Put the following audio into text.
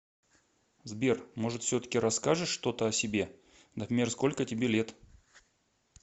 сбер может все таки расскажешь что то о себе например сколько тебе лет